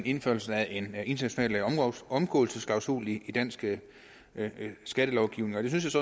indførelse af en international omgåelsesklausul i dansk skattelovgivning jeg synes